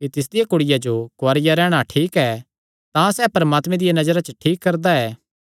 कि तिसदिया कुड़िया जो कुआरिया रैहणा ठीक ऐ तां सैह़ परमात्मे दिया नजरा च ठीक करदा ऐ